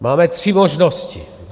Máme tři možnosti.